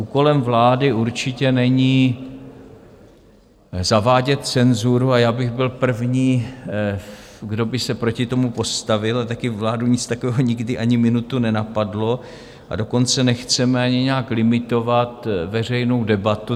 Úkolem vlády určitě není zavádět cenzuru a já bych byl první, kdo by se proti tomu postavil, a také vládu nic takového nikdy ani minutu nenapadlo, a dokonce nechceme ani nijak limitovat veřejnou debatu.